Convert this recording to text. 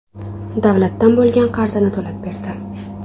davlatdan bo‘lgan qarzini to‘lab berdi.